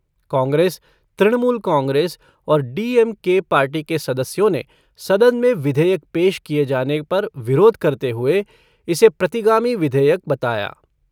कांग्रेस, तृणमूल कांग्रेस और डीएमके पार्टी के सदस्यों ने सदन में विधेयक पेश किये जाने पर विरोध करते हुए इसे प्रतिगामी विधेयक बताया।